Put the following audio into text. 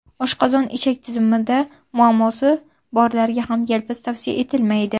Oshqozon-ichak tizimida muammosi borlarga ham yalpiz tavsiya etilmaydi.